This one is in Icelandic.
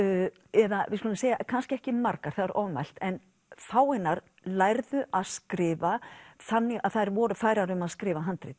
eða við skulum segja kannski ekki margar það er ofmælt en fáeinar lærðu að skrifa þannig að þær voru færar um að skrifa handrit